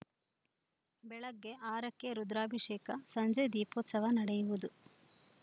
ಬೆಳಗ್ಗೆ ಆರಕ್ಕೆ ರುದ್ರಾಭಿಷೇಕ ಸಂಜೆ ದೀಪೋತ್ಸವ ನಡೆಯುವುದು